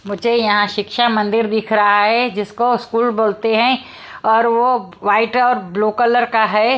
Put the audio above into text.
मुझे यहां शिक्षा मंदिर दिख रहा है जिसको स्कूल बोलते हैं और वो वाइट और ब्लू कलर का है।